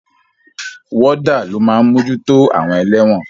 Wọ́dà ló máa mójútó àwọn ẹlẹ́wọ̀n.